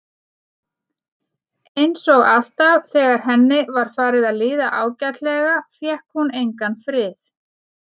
Einsog alltaf þegar henni var farið að líða ágætlega fékk hún engan frið.